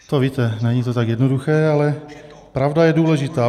To víte, není to tak jednoduché, ale pravda je důležitá.